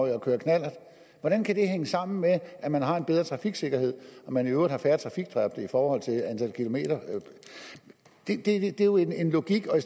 at køre knallert hvordan kan det hænge sammen med at man har en bedre trafiksikkerhed og man i øvrigt har færre trafikdræbte i forhold til antal kilometer det er jo en logik og